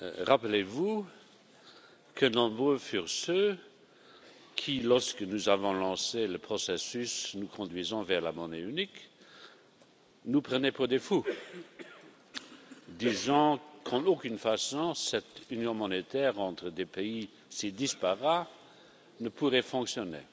Rappelez-vous nombreux furent ceux qui, lorsque nous avons lancé le processus nous conduisant vers la monnaie unique, nous prenaient pour des fous, disant qu'en aucune façon cette union monétaire entre des pays si disparates ne pourrait fonctionner.